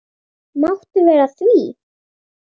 Máttu vera að því?